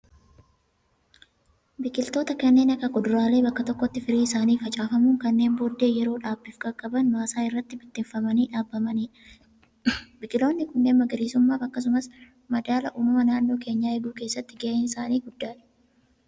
Biqiloota kanneen akka kuduraalee, bakka tokkotti firii isaanii facaafamuun, kanneen booddee yeroo dhaabbiif qaqqabaman, maasaa irra bittimfamanii dhaabbamaniidha. Biqiloonni kunneen magariisummaaf akkasumas madaala uumama naannoo keenyaa eeguu keessatti gaheen isaanii guddaadha.